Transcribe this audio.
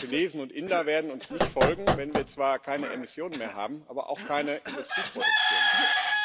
Chinesen und Inder werden uns nicht folgen, wenn wir zwar keine Emissionen mehr haben, aber auch keine Industrieproduktion mehr.